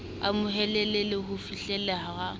amohelehe le ho fihleleha ha